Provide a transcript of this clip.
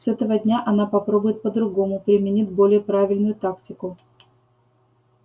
с этого дня она попробует по-другому применит более правильную тактику